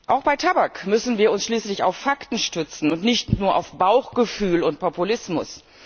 Auch bei Tabak müssen wir uns schließlich auf Fakten stützen und nicht nur auf Bauchgefühl und Populismus.